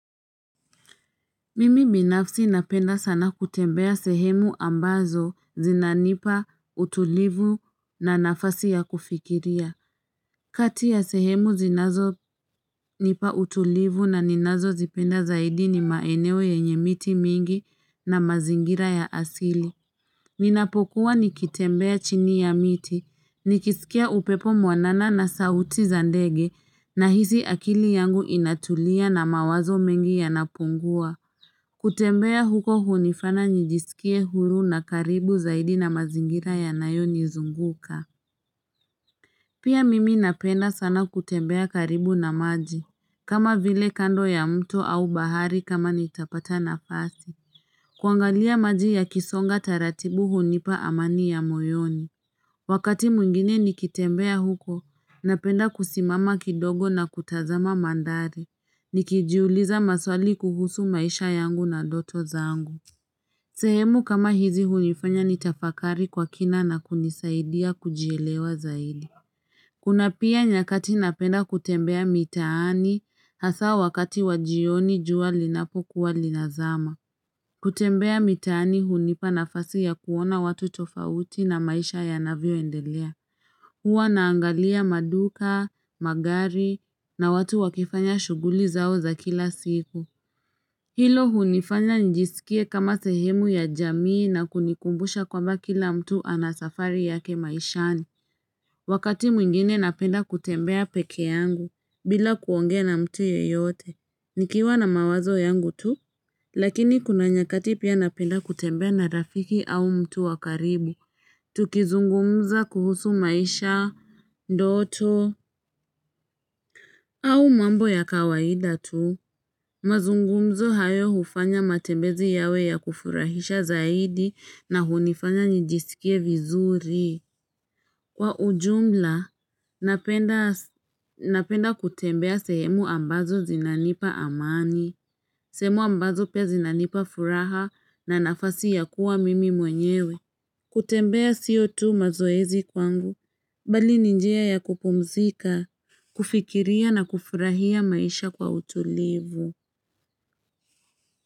Mimi binafsi napenda sana kutembea sehemu ambazo zinanipa utulivu na nafasi ya kufikiria. Kati ya sehemu zinazo nipa utulivu na ninazo zipenda zaidi ni maeneo yenye miti mingi na mazingira ya asili. Ninapokuwa nikitembea chini ya miti, nikisikia upepo mwanana na sauti za ndege na hisi akili yangu inatulia na mawazo mengi yanapungua. Kutembea huko hunifaya njisikie huru na karibu zaidi na mazingira ya nayo nizunguka Pia mimi napenda sana kutembea karibu na maji kama vile kando ya mto au bahari kama nitapata nafasi kuangalia maji yakisonga taratibu hunipa amani ya moyoni Wakati mwingine nikitembea huko Napenda kusimama kidogo na kutazama mandhari Nikijiuliza maswali kuhusu maisha yangu na doto zangu sehemu kama hizi hunifanya ni tafakari kwa kina na kunisaidia kujielewa zaidi Kuna pia nyakati napenda kutembea mitaani hasa wakati wa jioni jua linapo kuwa linazama. Kutembea mitaani hunipa nafasi ya kuona watu tofauti na maisha yanavyo endelea. Hua naangalia maduka, magari na watu wakifanya shuguli zao za kila siku. Hilo hunifanya njisikie kama sehemu ya jamii na kunikumbusha kwa mba kila mtu anasafari yake maishani. Wakati mwingine napenda kutembea peke yangu. Bila kuongea na mtu yoyote. Nikiwa na mawazo yangu tu. Lakini kuna nyakati pia napenda kutembea na rafiki au mtu wakaribu. Tukizungumza kuhusu maisha, ndoto, au mambo ya kawaida tu. Mazungumzo hayo hufanya matembezi yawe ya kufurahisha zaidi na hunifanya njisikie vizuri. Kwa ujumla, napenda kutembea semu ambazo zinanipa amani. Sehemu ambazo pia zinanipa furaha na nafasi ya kuwa mimi mwenyewe. Kutembea sio tu mazoezi kwangu, bali ni njia ya kupumzika, kufikiria na kufurahia maisha kwa utulivu.